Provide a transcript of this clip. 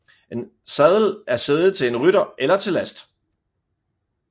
En sadel er sæde til en rytter eller til last